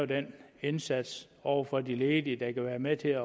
den indsats over for de ledige der kan være med til at